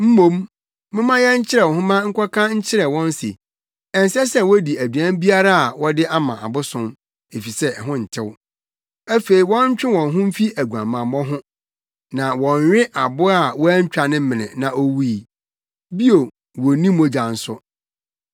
Mmom, momma yɛnkyerɛw nhoma nkɔka nkyerɛ wɔn se, ɛnsɛ sɛ wodi aduan biara a wɔde ama abosom, efisɛ ɛho ntew; afei wɔntwe wɔn ho mfi aguamammɔ ho na wɔnnwe aboa a wɔantwa ne mene na owui. Bio, wonnni mogya nso.